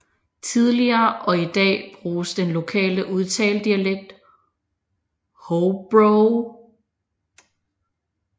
Tidligere og i dag bruges den lokale udtaledialekt Hobrow